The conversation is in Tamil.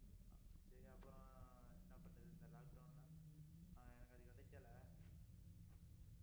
சரி, அப்புறம் என்ன பண்றது இந்த lockdown எல்லாம் ஆஹ் எனக்கு அது கிடைக்கலை